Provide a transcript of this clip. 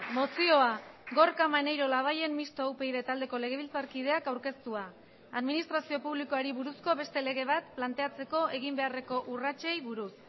mozioa gorka maneiro labayen mistoa upyd taldeko legebiltzarkideak aurkeztua administrazio publikoari buruzko beste lege bat planteatzeko egin beharreko urratsei buruz